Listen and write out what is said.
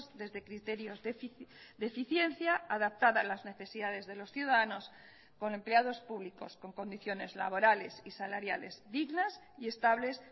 desde criterios de eficiencia adaptada a las necesidades de los ciudadanos con empleados públicos con condiciones laborales y salariales dignas y estables